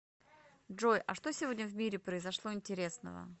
джой а что сегодня в мире произошло интересного